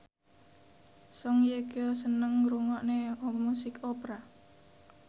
Song Hye Kyo seneng ngrungokne musik opera